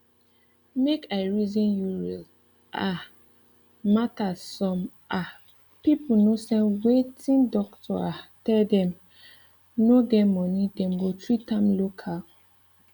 make i reason you real um matters some um people no send wertting doctor um tell dem no get money dem go treat am local